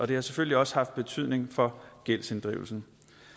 det har selvfølgelig også haft betydning for gældsinddrivelsen